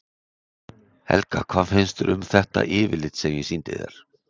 Helga: Hvað finnst þér þá um þetta yfirlit sem ég sýndi þér?